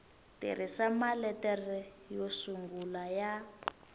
tirhisa maletere yo sungula ya